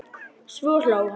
Svo hló hann.